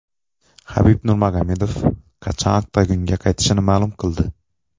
Habib Nurmagomedov qachon oktagonga qaytishini ma’lum qildi.